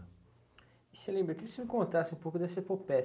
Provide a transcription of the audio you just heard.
E você lembra, queria que o senhor contasse um pouco dessa